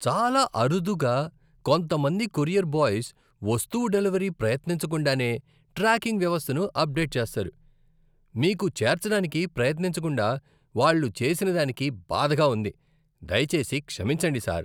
చాలా అరుదుగా, కొంతమంది కొరియర్ బాయ్స్ వస్తువు డెలివరీ ప్రయత్నించకుండానే ట్రాకింగ్ వ్యవస్థను అప్డేట్ చేస్తారు. మీకు చేర్చడానికి ప్రయత్నించకుండా వాళ్ళు చేసినదానికి బాధగా ఉంది, దయచేసి క్షమించండి, సర్.